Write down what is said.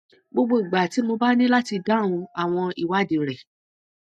gbogbo ìgbà tí mo bá ní láti dáhùn àwọn ìwádìí rẹ